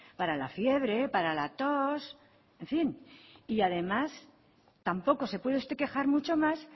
para la fiebre para la tos en fin y además tampoco se puede usted quejar mucho más